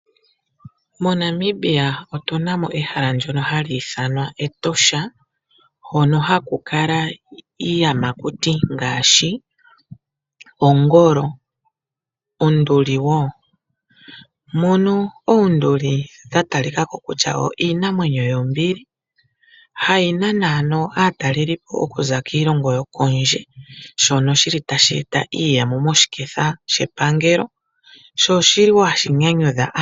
MoNamibia otuna mo ehala ndono haku ithanwa Etosha hono haku kala iiyamaukuti ngaashi ongolo nonduli wo, mono oonduli dhata li ka ko kutya iinamwenyo yombili hayi nana ano aataleli okuza kiilongo kondje shono shili tashi eta iiyemo moshiketha shepangelo sho oshili wo hashi nyanyudha aantu.